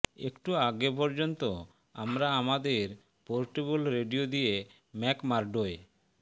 একটু আগে পর্যন্ত আমরা আমাদের পোর্টেবল রেডিয়ো দিয়ে ম্যাকমাৰ্ডোয়